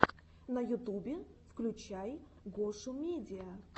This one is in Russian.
на ютубе включай гошумедиа